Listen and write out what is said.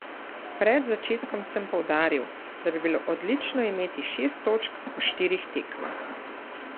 Pred začetkom sem poudaril, da bi bilo odlično imeti šest točk po štirih tekmah.